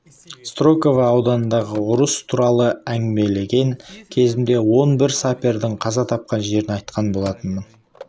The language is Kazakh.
строково ауданындағы ұрыс туралы әңгімелеген кезімде он бір сапердің қаза тапқан жерін айтқан болатынмын